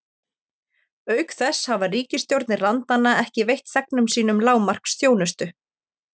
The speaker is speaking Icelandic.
Auk þess hafa ríkisstjórnir landanna ekki veitt þegnum sínum lágmarksþjónustu.